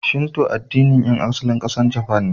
Shinto addinin ƴan asalin ƙasar Japan ne.